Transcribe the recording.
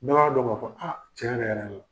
Be b'a dɔn ka fɔ a tiɲɛ yɛrɛ-yɛrɛ la